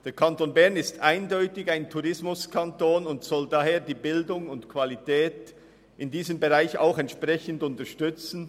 Der Kanton Bern ist eindeutig ein Tourismuskanton und soll daher die Bildung und die Qualität in diesem Bereich entsprechend unterstützen.